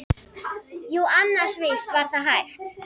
Jú annars, víst var það hægt.